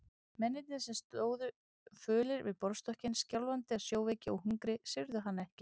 Mennirnir sem stóðu fölir við borðstokkinn, skjálfandi af sjóveiki og hungri, syrgðu hann ekki.